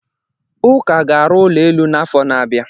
Ụka ga-arụ ụlọ elu n'afọ na-abịa.